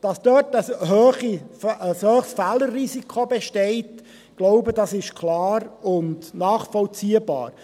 Dass dort ein hohes Fehlerrisiko besteht, ist – glaube ich – klar und nachvollziehbar.